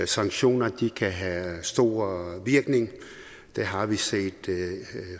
sanktioner kan have stor virkning det har vi set